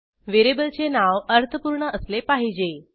व्हेरिएबलचे नाव अर्थपूर्ण असले पाहिजे